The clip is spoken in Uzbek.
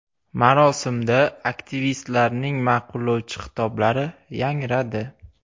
Marosimda aktivistlarning ma’qullovchi xitoblari yangradi.